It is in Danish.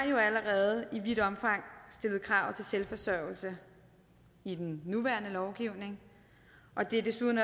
jo allerede i vidt omfang stillet krav til selvforsørgelse i den nuværende lovgivning det er desuden